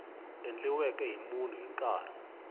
endliweke hi munhu hi nkarhi